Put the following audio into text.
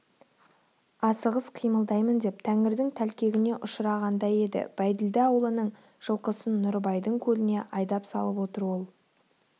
асығыс қимылдаймын деп тәңірдің тәлкегіне ұшырағандай еді бәйділда аулының жылқысын нұрыбайдың көліне айдап салып отыр ол